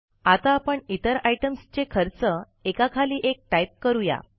आता आपण इतर आयटम्सचे खर्च एकाखाली एक टाईप करू या